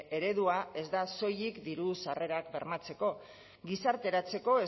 eredua ez da soilik diru sarrerak bermatzeko gizarteratzeko